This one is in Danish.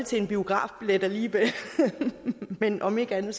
til en biografbillet alligevel men om ikke andet